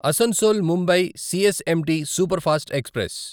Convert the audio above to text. Asansol Mumbai CSMT superfast express